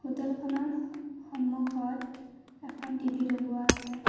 Hotel খনৰ স-সন্মুখত এখন টি_ভি লগোৱা আছে।